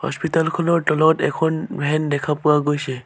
Hospital খনৰ তলত এখন ভেন দেখা পোৱা গৈছে।